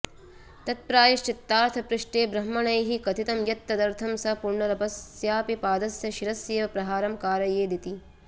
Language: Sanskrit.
तत्प्रायश्चित्तार्थ पृष्टेब्रह्मणैः कथितं यत्तदर्थं स पुनरपस्यापि पादस्य शिरस्येव प्रहारं कारयेदिति